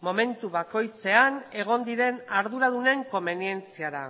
momentu bakoitzean egon diren arduradunen komenientziara